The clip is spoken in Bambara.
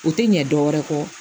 U tɛ ɲɛ dɔwɛrɛ kɔ